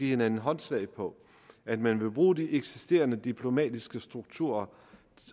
hinanden håndslag på at man vil bruge de eksisterende diplomatiske strukturer